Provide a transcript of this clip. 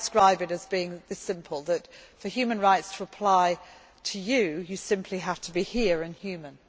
right. I describe it as being this simple for human rights to apply to you, you simply have to be here and